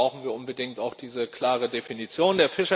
Deshalb brauchen wir unbedingt auch diese klare Definition.